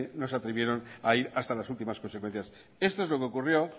no se atrevieron a ir hasta las últimas consecuencias esto es lo que ocurrió